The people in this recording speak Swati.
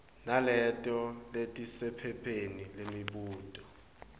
naleto letisephepheni lemibuto